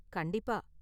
கண்டிப்பா.